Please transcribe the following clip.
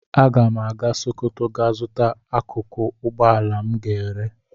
Aga m aga Sokoto gaa zuta akụkụ ugboala m ga-ere.